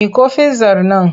Miƙo fizzar nan!